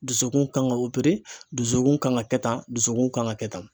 Dusukun kan ka dusukun kan ka kɛ tan, dusukun kan ka kɛ tan